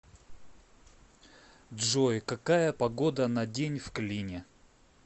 джой какая погода на день в клине